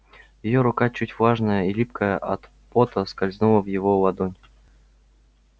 её рука чуть влажная и липкая от пота скользнула в его ладонь